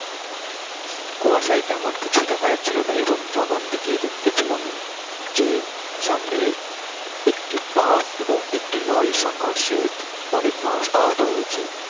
কুয়াশাই তেমন কিছুই দেখা জাছহিল না এবং যখন গিয়ে দেখতে পেলাম যে সামনে একটি বাস ও একটি লরি এর সংঘর্ষ অনেক মানুষ আহত হয়েছে